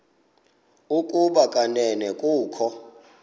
ukuba kanene kukho